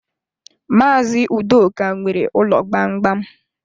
Maazi Udoka nwere ụlọ gbamgbam.